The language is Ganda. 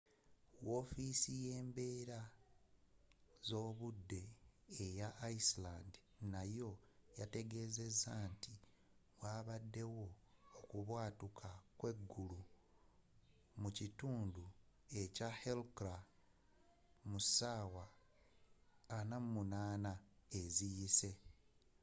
wofiisi yembeera zobudde eya iceland nayo yategezeza nti wabaddewo okubwatuka kweggulu mu kitundu kya hekla mu ssaawa 48 eziyise